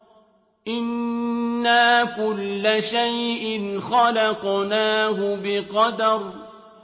إِنَّا كُلَّ شَيْءٍ خَلَقْنَاهُ بِقَدَرٍ